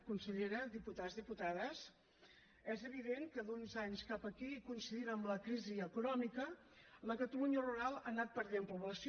consellera diputats diputades és evident que d’uns anys cap aquí coincidint amb la crisi econòmica la catalunya rural ha anat perdent població